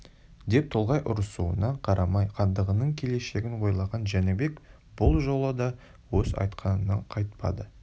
деп толғай ұрысуына қарамай хандығының келешегін ойлаған жәнібек бұл жолы да өз айтқанынан қайтпады